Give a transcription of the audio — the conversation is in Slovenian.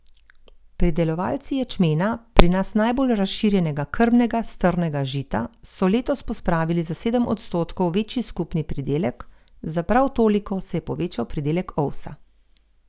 Pridelovalci ječmena, pri nas najbolj razširjenega krmnega strnega žita, so letos pospravili za sedem odstotkov večji skupni pridelek, za prav toliko se je povečal pridelek ovsa.